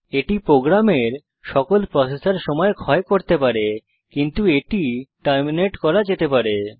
এটি প্রোগ্রামের সকল প্রসেসর সময় ক্ষয় করতে পারে কিন্তু এটি টার্মিনেট করা যেতে পারে